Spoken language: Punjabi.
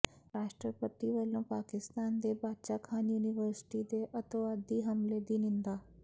ਰਾਸ਼ਟਰਪਤੀ ਵੱਲੋਂ ਪਾਕਿਸਤਾਨ ਦੇ ਬਾਚਾ ਖਾਨ ਯੂਨੀਵਰਸਿਟੀ ਦੇ ਅੱਤਵਾਦੀ ਹਮਲੇ ਦੀ ਨਿੰਦਾ